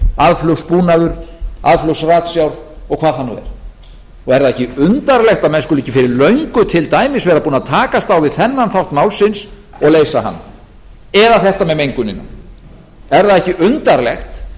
aðflugsbúnað aðflugsratsjár og hvað það nú er er það ekki undarlegt að menn skuli ekki fyrir löngu til dæmis vera búnir að takast á við þennan þátt málsins og leysa hann eða þetta með mengunina er það ekki undarlegt